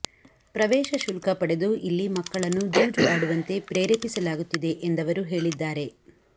ಪ್ರವೇಶ ಶುಲ್ಕ ಪಡೆದು ಇಲ್ಲಿ ಮಕ್ಕಳನ್ನು ಜೂಜು ಆಡುವಂತೆ ಪ್ರೇರೇಪಿಸ ಲಾಗುತ್ತಿದೆ ಎಂದವರು ಹೇಳಿದ್ದಾರೆ